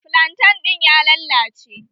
Flantan ɗin ya lallace